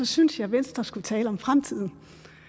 synes jeg venstre skulle tale om fremtiden